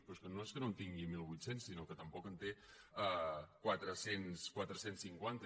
però és que no és que no en tingui mil vuit cents sinó que tampoc en té quatre cents i cinquanta